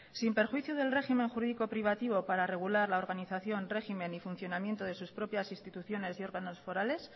sin perjuicio del régimen jurídico privativo para regular la organización régimen y funcionamiento de sus propias instituciones y órganos forales